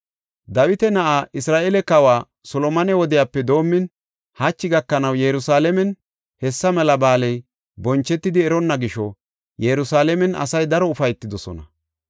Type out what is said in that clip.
Dawita na7aa, Isra7eele kawa Solomone wodiyape doomin hachi gakanaw Yerusalaamen hessa mela ba7aaley bonchetidi eronna gisho Yerusalaamen asay daro ufaytidosona.